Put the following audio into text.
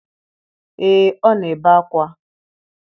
Ee ọ na-ebe akwa